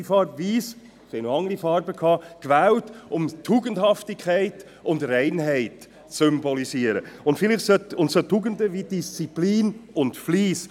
Sie haben die weisse Farbe gewählt, um die Tugendhaftigkeit und Reinheit zu symbolisieren, und Tugenden wie Disziplin und Fleiss.